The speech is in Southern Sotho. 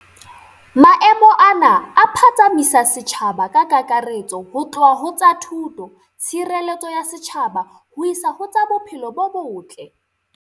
Maemo ana a phatsamisa setjhaba ka kakaretso ho tloha ho tsa thuto, tshireletso ya setjhaba ho isa ho tsa bophelo bo botle.